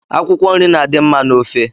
Akwụkwọnri na-adị mma n'ofe